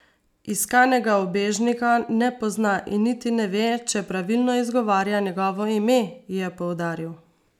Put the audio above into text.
Iskanega ubežnika ne pozna in niti ne ve, če pravilno izgovarja njegovo ime, je poudaril.